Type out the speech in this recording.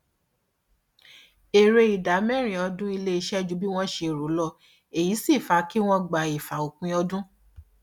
èrè ìdá mẹrin ọdún iléiṣẹ ju bí wọn ṣe rò lọ èyí sì fa kí wọn gba ìfà ópin ọdún